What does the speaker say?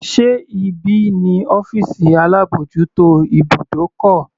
Sé ibí ni ọ́fìsì alábòjútó ibùdókọ̀?